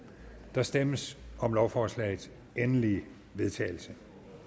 der stemmes om lovforslagets endelige vedtagelse